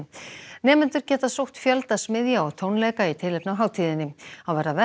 nemendur geta sótt fjölda smiðja og tónleika í tilefni af hátíðinni þá verða verk